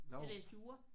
Jeg læste jura